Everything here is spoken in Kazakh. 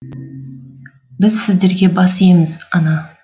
біз сіздерге бас иеміз ана